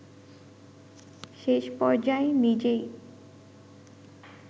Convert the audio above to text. শেষপর্যায়ে নিজেই